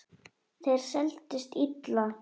Þær seldust illa.